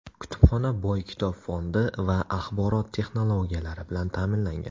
Kutubxona boy kitob fondi va axborot texnologiyalari bilan ta’minlangan.